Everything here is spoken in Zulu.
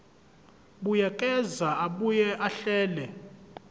buyekeza abuye ahlele